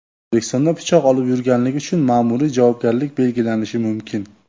O‘zbekistonda pichoq olib yurganlik uchun ma’muriy javobgarlik belgilanishi mumkin.